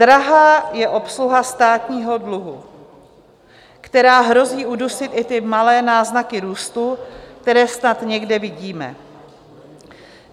Drahá je obsluha státního dluhu, která hrozí udusit i ty malé náznaky růstu, které snad někde vidíme.